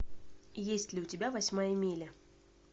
есть ли у тебя восьмая миля